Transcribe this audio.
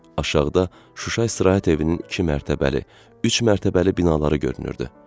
Aşağıda Şuşa istirahət evinin iki mərtəbəli, üç mərtəbəli binaları görünürdü.